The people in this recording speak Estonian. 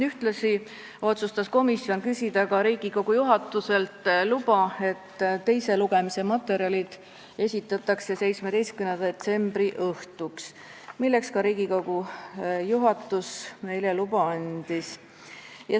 Ühtlasi otsustas komisjon küsida Riigikogu juhatuselt luba, et teise lugemise materjalid esitatakse 17. detsembri õhtuks, milleks Riigikogu juhatus meile ka loa andis.